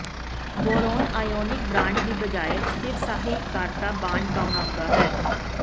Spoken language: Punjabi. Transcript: ਬੋਰੋਨ ਆਇਓਨਿਕ ਬਰਾਂਡ ਦੀ ਬਜਾਏ ਸਥਿਰ ਸਹਿਕਾਰਤਾ ਬਾਂਡ ਬਣਾਉਂਦਾ ਹੈ